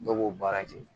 Dɔw b'o baara kɛ